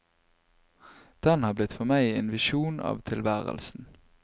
Den har blitt for meg en visjon av tilværelsen.